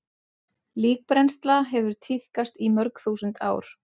Líkbrennsla hefur tíðkast í mörg þúsund ár.